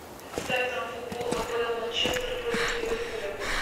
ставь нам футбол апл манчестер против ливерпуля